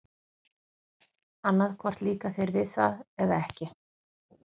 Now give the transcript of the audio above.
Annað hvort líkar þér við það eða ekki.